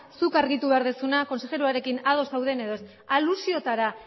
zuk argitu behar duzuna kontsejeroarekin ados zauden edo ez alusiotara